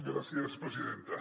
gràcies presidenta